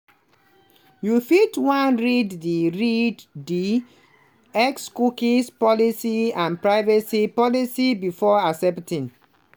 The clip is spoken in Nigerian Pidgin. you fit wan read di read di xcookie policyandprivacy policybefore accepting.